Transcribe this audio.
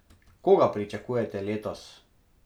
Koga pričakujete letos?